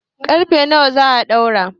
ƙarfe nawa za a ɗaura?